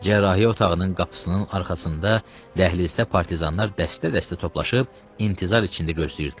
Cərrahiyyə otağının qapısının arxasında, dəhlizdə partizanlar dəstə-dəstə toplaşıb intizar içində gözləyirdilər.